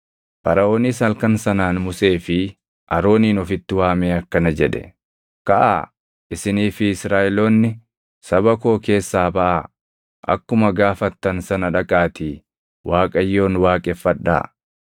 Faraʼoonis halkan sanaan Musee fi Aroonin ofitti waamee akkana jedhe; “Kaʼaa! Isinii fi Israaʼeloonni saba koo keessaa baʼaa! Akkuma gaafattan sana dhaqaatii Waaqayyoon waaqeffadhaa.